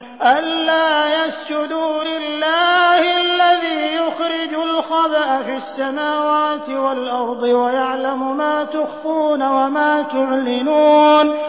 أَلَّا يَسْجُدُوا لِلَّهِ الَّذِي يُخْرِجُ الْخَبْءَ فِي السَّمَاوَاتِ وَالْأَرْضِ وَيَعْلَمُ مَا تُخْفُونَ وَمَا تُعْلِنُونَ